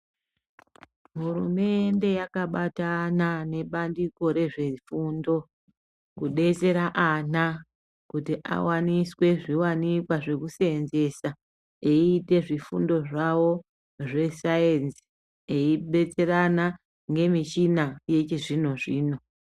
Hurumende yaka batana ne bandiko rezve fundo kudetsera ana kuti awaniswe zviwanikwa zveku senzesa eyiite zvifundo zvawo zve sainzi eyi betserana nge michina yechi zvino zvino.